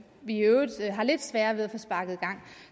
vi i øvrigt har lidt sværere ved at få sparket i gang